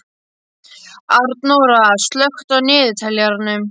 Arnóra, slökktu á niðurteljaranum.